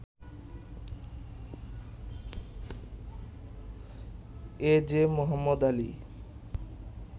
এজে মোহাম্মদ আলী